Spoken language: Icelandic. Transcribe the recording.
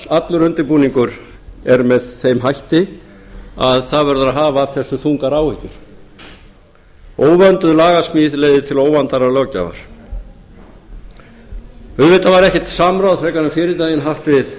allar undirbúningur er með þeim hætti að það verður að hafa af þessu þungar áhyggjur óvönduð lagasmíð leiðir til óvandaðrar löggjafar auðvitað var ekkert samráð frekar en fyrri daginn haft við